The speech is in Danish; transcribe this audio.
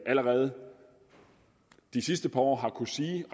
allerede de sidste par år har kunnet sige